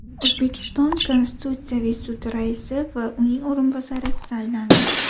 O‘zbekiston Konstitutsiyaviy sudi raisi va uning o‘rinbosari saylandi.